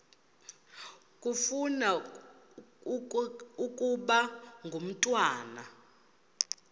ufuna ukaba ngumntwana